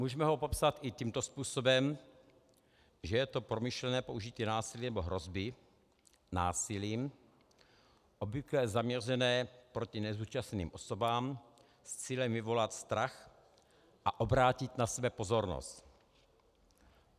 Můžeme ho popsat i tímto způsobem, že je to promyšlené použití násilí nebo hrozby násilím obvykle zaměřené proti nezúčastněným osobám s cílem vyvolat strach a obrátit na sebe pozornost.